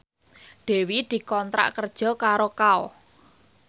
Dewi dikontrak kerja karo Kao